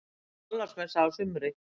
Nú er Þorláksmessa á sumar.